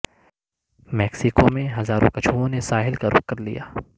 Mexico میں ہزاروں کچھووں نے ساحل کا رخ کرلیا